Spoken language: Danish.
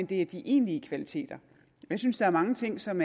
det er de egentlige kvaliteter jeg synes der er mange ting som